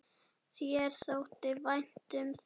Þér þótti vænt um það.